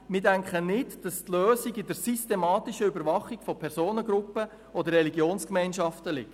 Wir denken nicht, dass die Lösung in der systematischen Überwachung von Personengruppen oder Religionsgemeinschaften liegt.